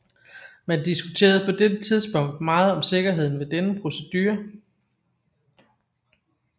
Man diskuterede på dette tidspunkt meget om sikkerheden ved denne procedure